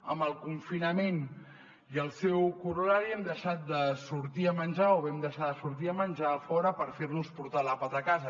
amb el confinament i el seu curt horari hem deixat de sortir a menjar o vam deixar de sortir a menjar a fora per fer nos portar l’àpat a casa